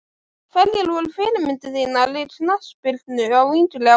Hverjar voru fyrirmyndir þínar í knattspyrnu á yngri árum?